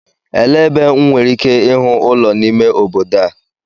Elee ebe M nwere ike ịhụ ụlọ n'ime obodo a?